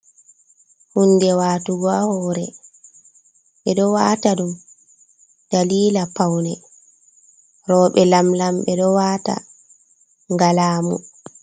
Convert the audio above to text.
Hunde watugo hore, ɓeɗo wata ɗum dalila paune, roɓe lam-lam ɓe ɗo wata nga lamu.